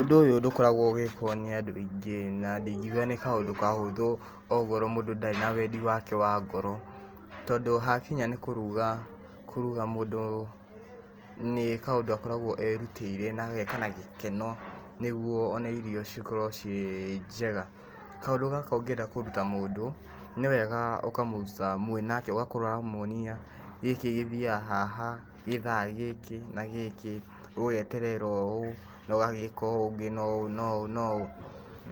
Ũndũ ũyũ ndũkoragwo ũgĩkwo nĩ andũ aingĩ, na ndingiuga nĩ kaũndũ kahũthũ okorwo mũndũ ndarĩ na wendi wake wa ngoro, tondũ hakinya nĩ kũruga, kũruga mũndũ nĩ kaũndũ akoragwo erutĩire na ageka na gĩkeno, nĩguo ona irio ikorwo ciĩ njega, kaũndũ gaka ũngĩenda kũruta mũndũ, nĩ wega ũkamũruta mwĩ nake, ũgakorwo ũramwonia gĩkĩ gĩthiaga haha gĩthaa gĩkĩ na gĩkĩ, ũgeterera ũũ, na ũgagĩka ũũ ũngĩ na ũũ na ũũ,